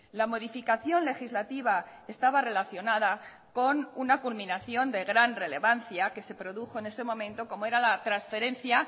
la modificación legislativa estaba relacionada con una culminación de gran relevancia que se produjo en ese momento como era la transferencia